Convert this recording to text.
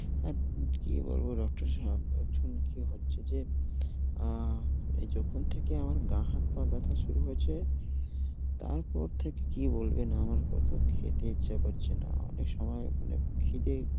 কি বলবো doctor সাব, কি হচ্ছে যে অ্যা যখন থেকে আমার গা-হাত-পা ব্যথা শুরু হয়েছে তারপর থেকে কি বলবেন, আমার কিছু খেতে ইচ্ছে করছে না, অনেক সময় মানে খিদে